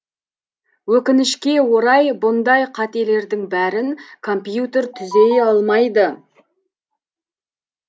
өкінішке орай бұндай қателердің бәрін компьютер түзей алмайды